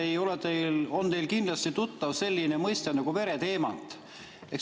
Kindlasti on teile tuttav selline mõiste nagu vereteemant.